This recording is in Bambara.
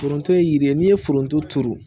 Foronto ye yiri ye n'i ye foronto turu